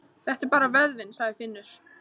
Þetta er bara vöðvinn, sagði Finnur.